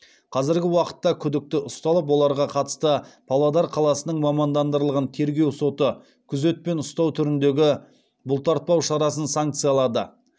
қазіргі уақытта күдікті ұсталып оларға қатысты павлодар қаласының мамандандырылған тергеу соты күзетпен ұстау түріндегі бұлтартпау шарасын санкциялады